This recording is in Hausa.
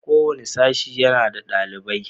Kowane sashe yana da ɗalibai.